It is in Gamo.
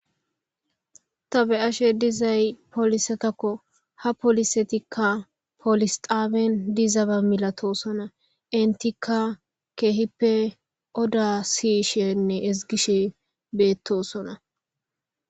Ta be'ashe dizayi polisetako ha polisetika polis xabeni dizaba milatisona initika kehipe oda si'ishenee esigiishe betosona